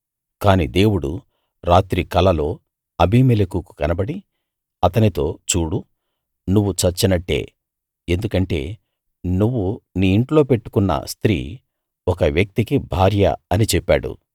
కాని దేవుడు రాత్రి కలలో అబీమెలెకు దగ్గరికికు కనబడి అతనితో చూడు నువ్వు చచ్చినట్టే ఎందుకంటే నువ్వు నీ ఇంట్లో పెట్టుకున్న స్తీ ఒక వ్యక్తికి భార్య అని చెప్పాడు